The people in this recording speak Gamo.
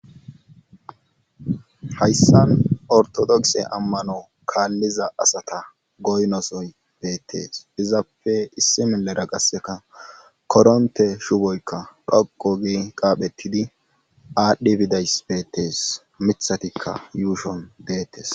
hayssan ortodokse ammano kaalliza asata goynosoy beettees izappe issi milera qasseka koronte shuboykka dhoqo gii qaaphetidi aadhdhi bidays beettees mithatikka yuushon deettes